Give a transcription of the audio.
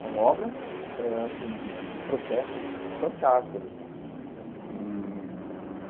São obras ãh assim de de de protesto fantásticas assim e.